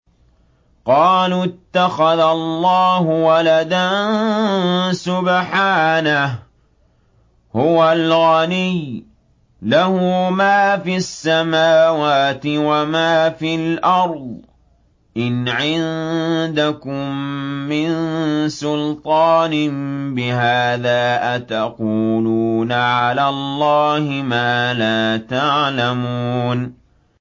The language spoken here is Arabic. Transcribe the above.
قَالُوا اتَّخَذَ اللَّهُ وَلَدًا ۗ سُبْحَانَهُ ۖ هُوَ الْغَنِيُّ ۖ لَهُ مَا فِي السَّمَاوَاتِ وَمَا فِي الْأَرْضِ ۚ إِنْ عِندَكُم مِّن سُلْطَانٍ بِهَٰذَا ۚ أَتَقُولُونَ عَلَى اللَّهِ مَا لَا تَعْلَمُونَ